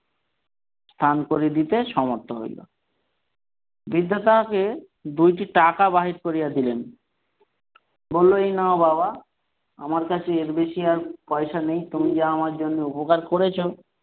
স্থান করে দিতে সমর্থ হইলো বৃদ্ধা তাকে দুইটি টাকা বাহির করিয়া দিলেন বললো এই নাও বাবা আমার কাছে এর বেশী আর পয়সা নেই তুমি যা আমার জন্য উপকার করেছ,